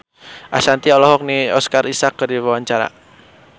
Ashanti olohok ningali Oscar Isaac keur diwawancara